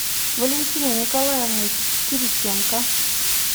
валентиной николаевной кириченко